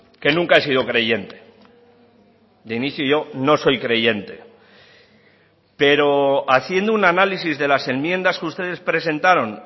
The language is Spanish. que nunca he sido creyente de inicio yo no soy creyente pero haciendo un análisis de las enmiendas que ustedes presentaron